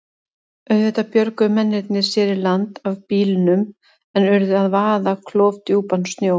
Auðvitað björguðu mennirnir sér í land af bílnum en urðu að vaða klofdjúpan sjó.